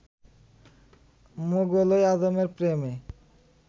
মোগল ই আযমের প্রেমে